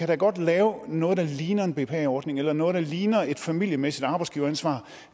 da godt kan lave noget der ligner en bpa ordning eller noget der ligner et familiemæssigt arbejdsgiveransvar